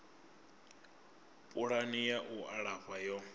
pulani ya u alafha yo